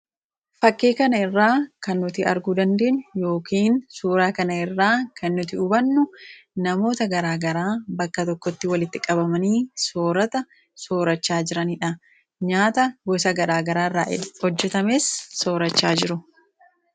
Fakkii kana irraa kan nuti arguu dandeenyu yookiin suuraa kana irraa kan nuti hubannu, namoota garaa garaa bakka tokkotti walitti qabamanii soorata soorachaa jiranidha. Nyaata gosa garaa garaa irraa hojjetames soorachaa jiru.